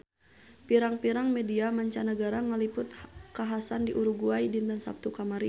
Pirang-pirang media mancanagara ngaliput kakhasan di Uruguay dinten Saptu kamari